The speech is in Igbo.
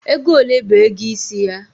Ego ole bu ego isi ya?